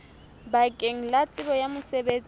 bakeng la tsebo ya mosebetsi